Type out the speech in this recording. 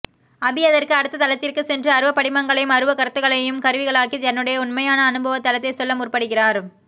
அபி அதற்கு அடுத்த தளத்திற்குச் சென்று அருவப் படிமங்களையும் அருவக்கருத்துக்களையும் கருவிகளாக்கி தன்னுடைய நுண்மையான அனுபவ தளத்தைச் சொல்ல முற்படுகிறார்